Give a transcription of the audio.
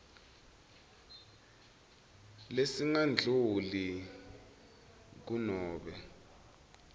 lesingadluli kur nobe